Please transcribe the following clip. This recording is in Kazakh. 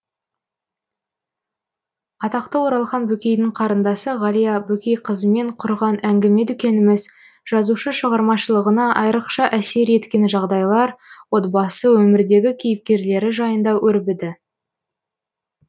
атақты оралхан бөкейдің қарындасы ғалия бөкейқызымен құрған әңгіме дүкеніміз жазушы шығармашылығына айрықша әсер еткен жағдайлар отбасы өмірдегі кейіпкерлері жайында өрбіді